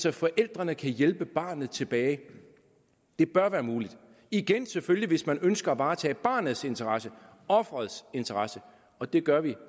at forældrene kan hjælpe barnet tilbage det bør være muligt igen selvfølgelig hvis man ønsker at varetage barnets interesse offerets interesse og det gør vi